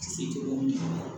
Se tɛ o ye